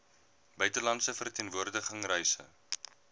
buitelandse verteenwoordiging reise